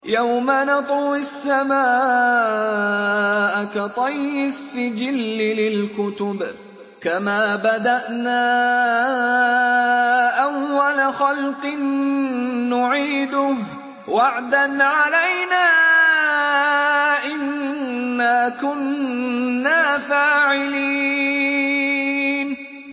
يَوْمَ نَطْوِي السَّمَاءَ كَطَيِّ السِّجِلِّ لِلْكُتُبِ ۚ كَمَا بَدَأْنَا أَوَّلَ خَلْقٍ نُّعِيدُهُ ۚ وَعْدًا عَلَيْنَا ۚ إِنَّا كُنَّا فَاعِلِينَ